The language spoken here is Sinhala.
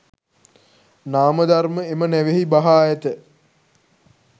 නාම ධර්ම එම නැවෙහි බහා ඇත.